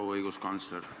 Proua õiguskantsler!